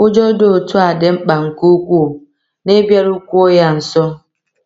Ụjọ dị otu a dị mkpa nke ukwuu n’ịbịarukwuo ya nso.